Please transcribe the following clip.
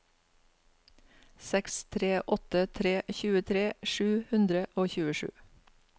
seks tre åtte tre tjuetre sju hundre og tjuesju